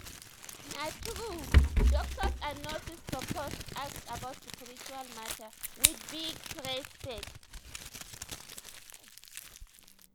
na true! doctors and nurses suppose ask about spiritual mata with big respect